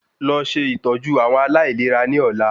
Lọ ṣe Ìtọ́jú àwọn aláìlera ní ọ̀la